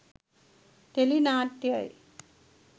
Tele නාට්‍යයි.